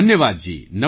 ધન્યવાદ જી